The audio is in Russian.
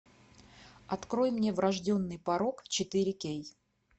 открой мне врожденный порок четыре кей